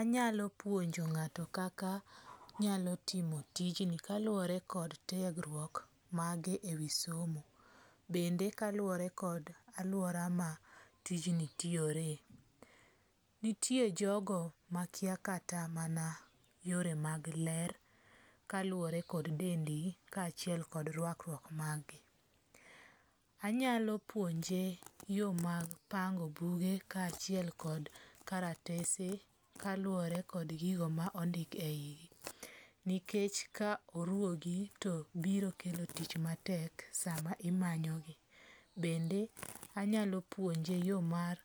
Anyalo puonjo ng'ato kaka onyalo timo tijni kaluwore kod tiegruok mage e wi somo. Bende kaluwore kod aluora ma tijni tiyore. Nitie jogo makia kata mana yore mag ler kaluwore kod dendgi kachiel kod rwakruok mag gi. Anyalo puonje yo mag pango buge ka achiel kod karatese kaluwore kod gigo ma ondik e yigi. Nikech ka oruwogi to biro kelo tich matek sama imanyo gi. Bende anyalo puonje yo mar